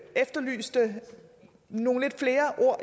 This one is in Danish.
efterlyste nogle flere ord